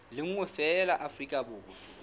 le nngwe feela afrika borwa